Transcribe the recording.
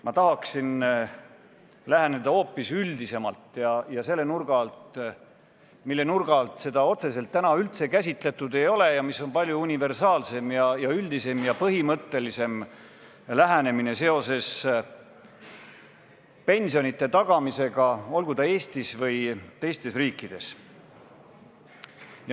Ma tahaksin teemale läheneda hoopis üldisemalt ja sellise nurga alt, mille alt seda eelnõu otseselt üldse käsitletud ei ole ning mis on palju universaalsem ja üldisem ja põhimõttelisem lähenemine pensionide tagamisele, olgu siis Eestis või teistes riikides.